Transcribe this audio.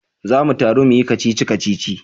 Za mu taru muyi kacici-kacici